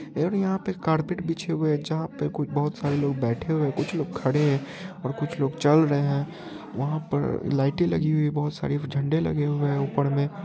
यहाँ पे कारपेट बिछी हुयी है यहाँ पे कुछ लोग बैठे हुए है कुछ लोग खड़े है और कुछ लोग चल रहे है वहाँ पे लाईटे लगी हुयी है बहुत सारी झंडे लगे हुए है ऊपर में।